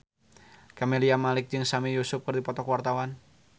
Camelia Malik jeung Sami Yusuf keur dipoto ku wartawan